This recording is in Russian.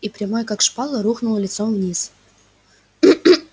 и прямой как шпала рухнул лицом вниз